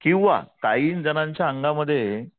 किंवा काही जणांच्या अंगामध्ये